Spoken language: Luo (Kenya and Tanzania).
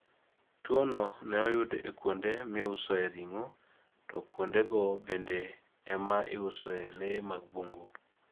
Tuwono ne oyud e kuonde miusoe ring'o, to kuondego bende ema iusoe le mag bungu.